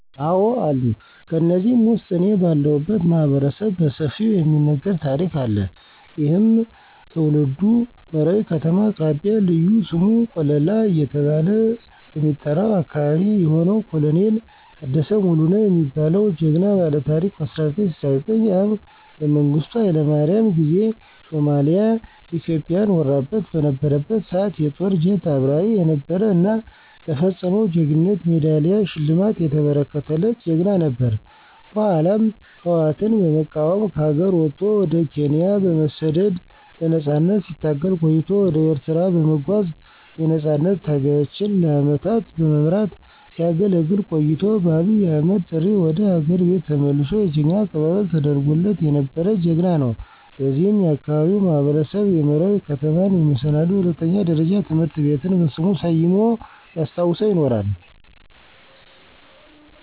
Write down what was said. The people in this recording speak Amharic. አዎ አሉ። ከነዚህም ውስጥ እኔ ባለሁለት ማህበረሰብ በሰፊው የሚነገር ታሪክ አለ። ይህም ትውልዱ መራዊ ከተማ አቅራቢያ ልዩ ስሙ ቆለላ እየተባለ በሚጠራው አካበቢ የሆነው ኮሎኔል ታደሰ ሙሉነህ የሚባለው ጀግና ባለታሪክ በ1969 ዓ.ም በመንግስቱ ሀይለማርያም ጊዜ ሶማሊያ ኢትዮጵያን ወራበት በነበረበት ሰዓት የጦር ጀት አብራሪ የነበረ እና ለፈፀመው ጀግንነት የሜዳሊያ ሽልማት የተበረከተለት ጀግና ነበር። በኃላም ህወአትን በመቃወም ከሀገር ወጦ ወደ ኬንያ በመሠደድ ለነፃነት ሲታገል ቆይቶ ወደ ኤርትራ በመጓዝ የነፃነት ታጋዮችን ለአመታት በመምራት ሲያገለግል ቆይቶ በአብይ አህመድ ጥሪ ወደ ሀገር ቤት ተመልሶ የጀግና አቀባበል ተደርጎለት የነበረ ጀግና ነው። በዚህም የአካባቢው ማህበረሰብ የመራዊ ከተማን የመሰናዶ ሁለተኛ ደረጃ ትምህርት ቤትን በሥሙ ሠይሞ ሲያስታውሰው ይኖራል።